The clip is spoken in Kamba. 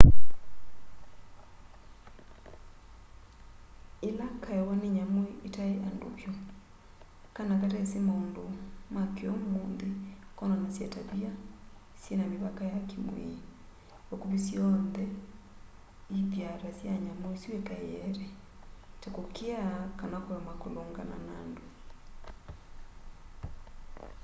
yĩla kaewa nĩ nyamũ itaĩ andũ vyũ kana katesi maũndũ ma kĩ'ũmũnthĩ konanasya tavia syĩna mĩvaka ya kĩmwĩĩ vakuvĩ syonthe ithyaa ta sya nyamũ isu ikaeete ta kũkĩa kana kũema kũlũngana na andũ